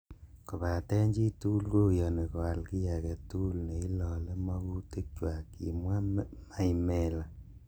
"Kobaten chitugul koyoni koal kiy agetugul neilole mokutikchwak,"Kimwa maimela